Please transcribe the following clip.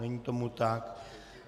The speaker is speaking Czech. Není tomu tak.